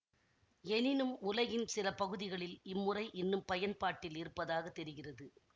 எனினும் உலகின் சில பகுதிகளில் இம்முறை இன்னும் பயன்பாட்டில் இருப்பதாக தெரிகிறது